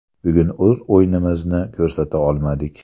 Bugun o‘z o‘yinimizni ko‘rsata olmadik.